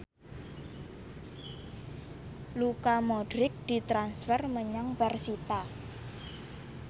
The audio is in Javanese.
Luka Modric ditransfer menyang persita